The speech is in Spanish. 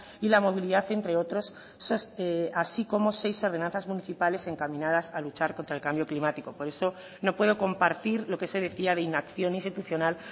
y la movilidad entre otros así como seis ordenanzas municipales encaminadas a luchar contra el cambio climático por eso no puedo compartir lo que se decía de inacción institucional